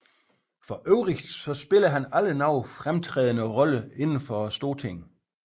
For øvrigt spillede han aldrig nogen fremtrædende Rolle inden for Stortinget